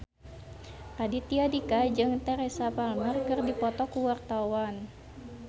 Raditya Dika jeung Teresa Palmer keur dipoto ku wartawan